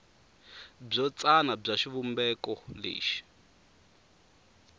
byo tsana bya xivumbeko lexi